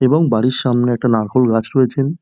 এবং বাড়ির সামনে একটা নারকেল গাছ রয়েছেন।